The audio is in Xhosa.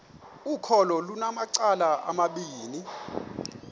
ukholo lunamacala amabini